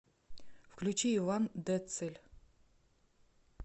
включи иван детцель